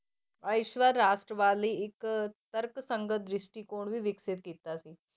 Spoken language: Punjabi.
ਰਾਸ਼ਟਰਵਾਦ ਲਈ ਇੱਕ ਤਰਕਸੰਗਤ ਦ੍ਰਿਸ਼ਟੀਕੋਣ ਵੀ ਵਿਕਸਿਤ ਕੀਤਾ ਸੀ।